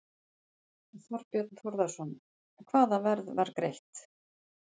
Þorbjörn Þórðarson: Hvaða verð var greitt?